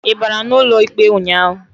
Ị bara n'ụlọ ikpe ụnyaahụ?